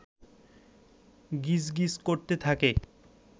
গিজ গিজ করতে থাকে